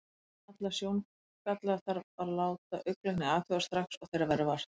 Alla sjóngalla þarf að láta augnlækni athuga, strax og þeirra verður vart.